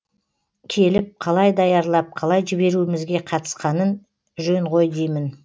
келіп қалай даярлап қалай жіберуімізге қатысқаның жөн ғой деймін